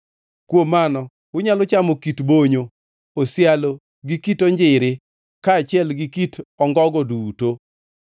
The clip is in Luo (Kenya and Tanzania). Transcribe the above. Kuom mano unyalo chamo kit bonyo, osialo gi kit onjiri kaachiel gi kit ongogo duto.